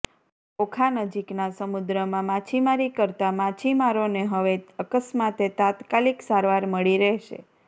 ઓખા નજીકના સમુદ્રમાં માછીમારી કરતા માછીમારોને હવે અકસ્માતે તાત્કાલિક સારવાર મળી રહેશે